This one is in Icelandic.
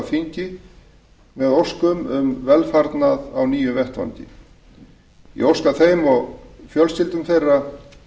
þingi með óskum um velfarnað á nýjum vettvangi ég óska þeim og fjölskyldum þeirra